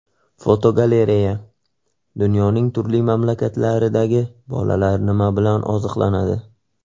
Fotogalereya: Dunyoning turli mamlakatlaridagi bolalar nima bilan oziqlanadi?.